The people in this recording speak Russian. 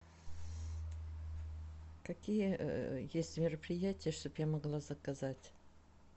какие есть мероприятия чтобы я могла заказать